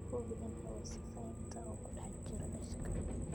Hubi in hawo sifaynta uu ku dhex jiro daashka.